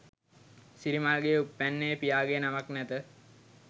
සිරිමල්ගේ උප්පැන්නයේ පියාගේ නමක් නැත.